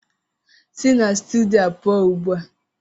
Si na stidiyo a pụọ ugbu a!